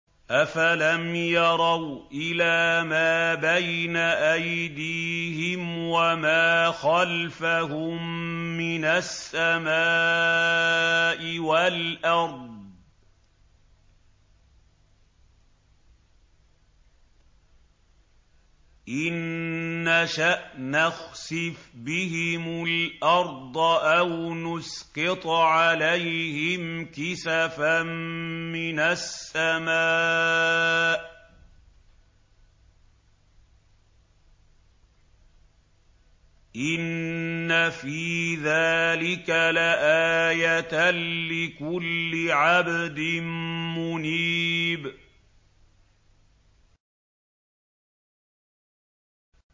أَفَلَمْ يَرَوْا إِلَىٰ مَا بَيْنَ أَيْدِيهِمْ وَمَا خَلْفَهُم مِّنَ السَّمَاءِ وَالْأَرْضِ ۚ إِن نَّشَأْ نَخْسِفْ بِهِمُ الْأَرْضَ أَوْ نُسْقِطْ عَلَيْهِمْ كِسَفًا مِّنَ السَّمَاءِ ۚ إِنَّ فِي ذَٰلِكَ لَآيَةً لِّكُلِّ عَبْدٍ مُّنِيبٍ